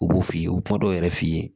U b'o f'i ye u bɛ kuma dɔw yɛrɛ f'i ye